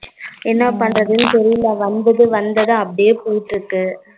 என்ன பண்றதுன்னு தெரியல வந்துட்டு வந்தத அப்டியே போட்டுட்டு